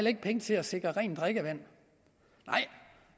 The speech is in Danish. ikke penge til at sikre rent drikkevand nej